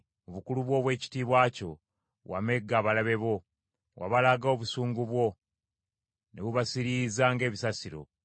Mu bukulu obw’ekitiibwa kyo, wamegga abalabe bo, wabalaga obusungu bwo, ne bubasiriiza ng’ebisasiro.